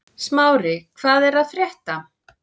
Smári, hvað er að frétta?